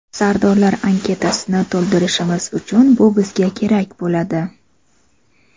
Sardorlar anketasini to‘ldirishimiz uchun bu bizga kerak bo‘ladi.